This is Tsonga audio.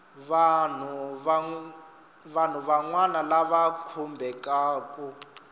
vanhu van wana lava khumbekaku